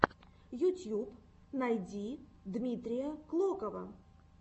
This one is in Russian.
ютьюб найди дмитрия клокова